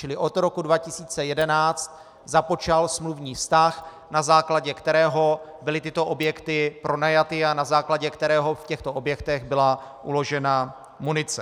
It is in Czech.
Čili od roku 2011 započal smluvní vztah, na základě kterého byly tyto objekty pronajaty a na základě kterého v těchto objektech byla uložena munice.